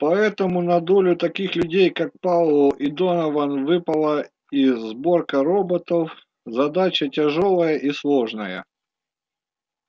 поэтому на долю таких людей как пауэлл и донован выпала и сборка роботов задача тяжёлая и сложная